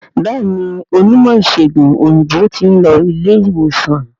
Béèni Onímò ìsègùn òyìnbó tin lo ilé ìwòsan